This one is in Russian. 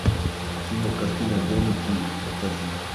кинокартина домики покажи